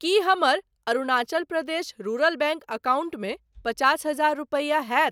की हमर Arunachal Pradesh rural bank अकाउंटमे पचास हजार रूपैया होयत?